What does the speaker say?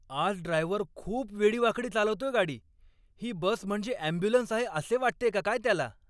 आज ड्रायव्हर खूप वेडीवाकडी चालवतोय गाडी. ही बस म्हणजे ॲम्ब्युलन्स आहे असे वाटतेय का काय त्याला?